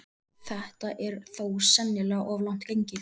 Þetta er þó sennilega of langt gengið.